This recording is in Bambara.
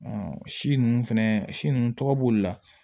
si ninnu fɛnɛ si nunnu tɔgɔ b'olu la